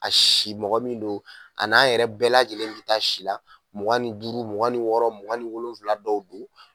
A si mɔgɔ min no a n'an yɛrɛ bɛɛ lajɛlen bi taa si la mugan ni duuru mugan ni wɔɔrɔ mugan ni wolonwula dɔw don